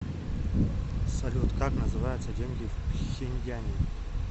салют как называются деньги в пхеньяне